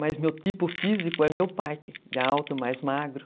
Mas meu tipo físico é meu pai, que é alto, mais magro.